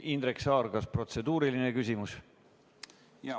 Indrek Saar, kas protseduuriline küsimus?